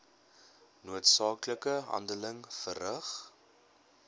noodsaaklike handeling verrig